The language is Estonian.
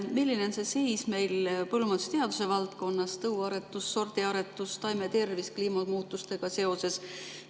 Milline on meil seis põllumajandusteaduse valdkonnas – tõuaretus, sordiaretus, taimetervis – kliimamuutustega seoses?